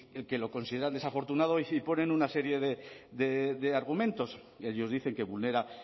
el que lo consideran desafortunado y ponen una serie de de argumentos ellos dicen que vulnera